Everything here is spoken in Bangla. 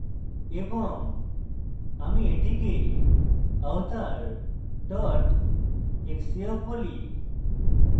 এবং আমি এটিকে avatar xcf বলি